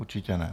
Určitě ne.